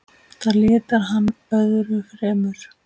Það litar hann öðru fremur.